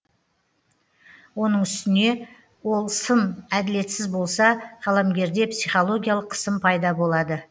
оның үстіне ол сын әділетсіз болса қаламгерде психологиялық қысым пайда болады